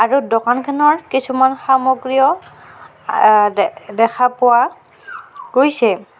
আৰু দোকানখনৰ কিছুমান সামগ্ৰীও আ দে দেখা পোৱা গৈছে।